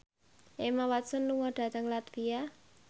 Emma Watson lunga dhateng latvia